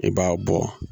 I b'a bɔ